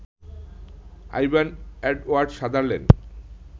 Ivan Edward Sutherland